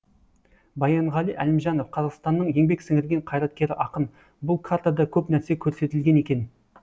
баянғали әлімжанов қазақстанның еңбек сіңірген қайраткері ақын бұл картада көп нәрсе көрсетілген екен